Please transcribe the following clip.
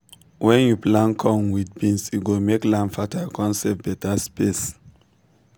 wen you plant corn with beans e go make land fertile con save beta space.